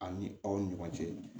Ani aw ni ɲɔgɔn cɛ